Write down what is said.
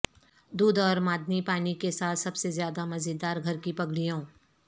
دودھ اور معدنی پانی کے ساتھ سب سے زیادہ مزیدار گھر کی پگڑیوں